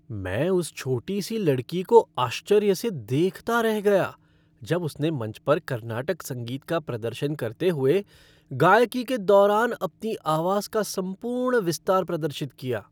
मैं उस छोटी सी लड़की को आश्चर्य से देखता रह गया जब उसने मंच पर कर्नाटक संगीत का प्रदर्शन करते हुए गायकी के दौरान अपनी आवाज का संपूर्ण विस्तार प्रदर्शित किया।